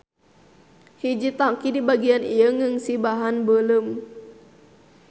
Hiji tanki di bagian ieu ngeusi bahan beuleum.